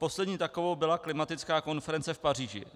Poslední takovou byla klimatická konference v Paříži.